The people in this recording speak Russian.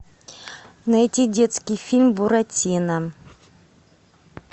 найти детский фильм буратино